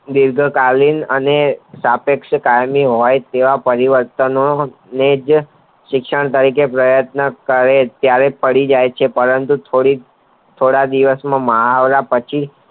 દીર્ઘ કાલીન અને સાપેક્ષ કાલીન કાલીન હોય તેવા પરિવર્તન ને જ શિક્ષણ તરીકે પ્રયત્ન કરે ત્યારે પડી જય છે પરંતુ થોડીક થોડા દીવાસમાં મુહાવરા પછી